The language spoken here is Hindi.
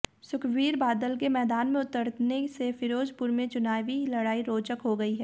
सुखबीर बादल के मैदान में उतरने से फ़िरोज़पुर में चुनावी लड़ाई रोचक हो गई है